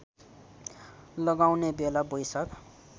लगाउने बेला वैशाख